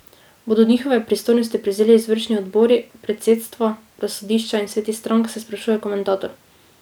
Bodo njihove pristojnosti prevzeli izvršni odbori, predsedstva, razsodišča in sveti strank, se sprašuje komentator.